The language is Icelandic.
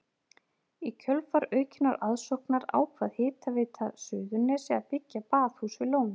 Í kjölfar aukinnar aðsóknar ákvað Hitaveita Suðurnesja að byggja baðhús við lónið.